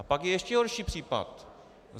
A pak je ještě horší případ.